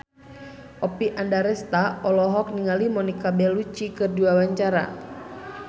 Oppie Andaresta olohok ningali Monica Belluci keur diwawancara